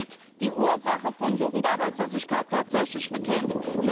Oder wird die Ursache von Jugendarbeitslosigkeit tatsächlich bekämpft?